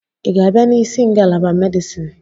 Ị ga-abịa n'isi ngalaba Medisin